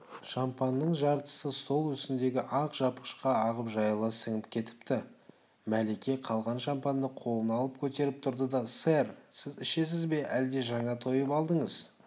шампанның жартысы стол үстіндегі ақ жапқышқа ағып жайыла сіңіп кетіпті мәлике қалған шампанды қолына алып көтеріп тұрды да сэр сіз ішесіз бе әлде жаңа тойып алдыңыз